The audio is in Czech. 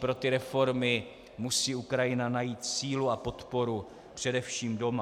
Pro ty reformy musí Ukrajina najít sílu a podporu především doma.